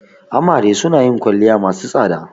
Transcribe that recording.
Amare suna yin kwalliya masu tsada.